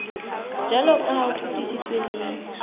jwaloka ha o fetisitswe le